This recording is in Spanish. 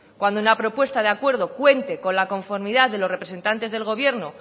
cuando una propuesta de acuerdo cuente con la conformidad de los representantes del gobierno